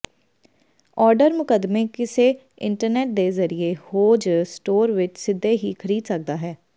order ਮੁਕੱਦਮੇ ਕਿਸੇ internet ਦੇ ਜ਼ਰੀਏ ਹੋ ਜ ਸਟੋਰ ਵਿੱਚ ਸਿੱਧੇ ਹੀ ਖਰੀਦ ਸਕਦਾ ਹੈ